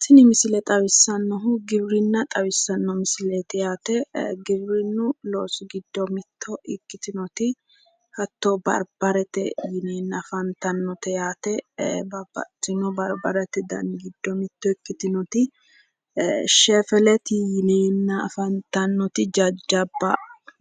Tini misile xawissannohu giwirinna xawissannote misileeti yaate giwirinnu loosi giddo miitto ikkitinoti hatto barbarete yineenna afantannote yaate babbaxxino barbarete dani giddo mitto ikkitinoti shefeleti yineenna afantannoti jajjabba